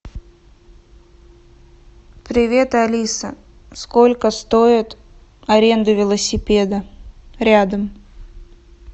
привет алиса сколько стоит аренда велосипеда рядом